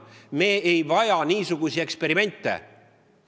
Me ei vaja niisuguseid eksperimente!